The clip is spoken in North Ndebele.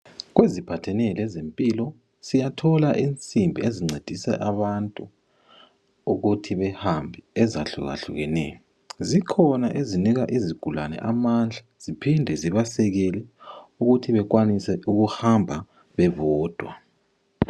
kweziphathene lezempilo siyathola insimbi ezincedisa abantu ukuthin behambe ezuhlakahlukaneyo zikhona ezinika izigulane amandla ziphinde zibasekele ukuthi bekwanise ukuhamba bebodwa